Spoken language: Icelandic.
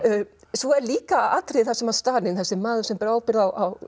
svo er líka atriði þar sem Stalín þessi maður sem ber ábyrgð á